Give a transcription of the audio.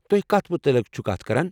تُہۍ کتھ متعلق چھو کتھ کران ؟